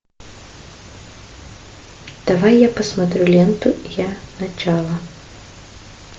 давай я посмотрю ленту я начало